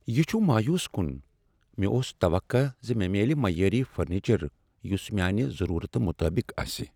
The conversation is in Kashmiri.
یہ چھ مایوس کن، مےٚ اوس توقع ز مےٚ میلِہ معیٲری فرنیچر یس میانِہ ضرورتہ مطٲبق آسہ۔